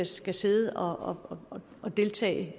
skal sidde og og deltage